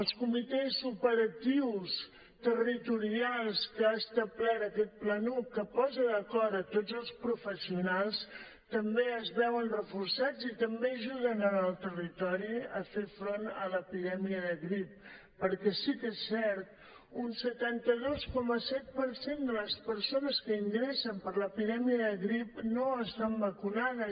els comitès operatius territorials que ha establert aquest planuc que posa d’acord tots els professionals també es veuen reforçats i també ajuden en el territori a fer front a l’epidèmia de grip perquè sí que és cert un setanta dos coma set per cent de les persones que ingressen per l’epidèmia de grip no estan vacunades